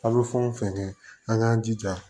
A bɛ fɛn o fɛn kɛ an k'an jija